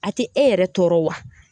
A te e yɛrɛ tɔɔrɔ wa